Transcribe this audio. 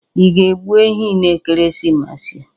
Ị ga-egbụ ehi n'ekeresimesi a